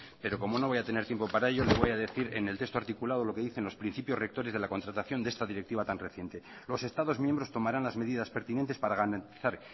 pero como no voy a tener tiempo para ello le voy a decir en el texto articulado lo que dice los principios rectores de la contratación de esta directiva tan reciente los estados miembros tomarán las medidas pertinentes para garantizar